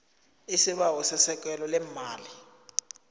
isibawo sesekelo leemali